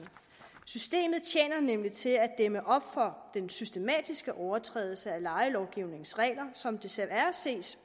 systemet tjener nemlig til at dæmme op for den systematiske overtrædelse af lejelovgivningens regler som desværre ses